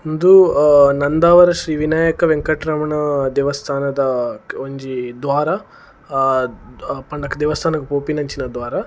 ಉಂದು ಅ ನಂದಾವರ ಶ್ರೀ ವಿನಾಯಕ ವೆಂಕಟ್ರಮಣ ದೇವಸ್ಥಾನದ ಒಂಜಿ ದ್ವಾರ ಪಂಡ ದೇವಸ್ಥಾನಗ್ ಪೋಪಿನಂಚಿನ ದ್ವಾರ.